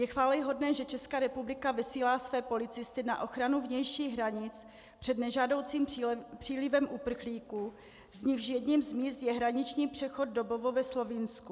Je chvályhodné, že Česká republika vysílá své policisty na ochranu vnějších hranic před nežádoucím přílivem uprchlíků, z nichž jedním z míst je hraniční přechod Dobovo ve Slovinsku.